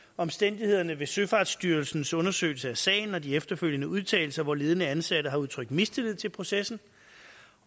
omstændighederne ved søfartsstyrelsens undersøgelse af sagen og de efterfølgende udtalelser hvor ledende ansatte har udtrykt mistillid til processen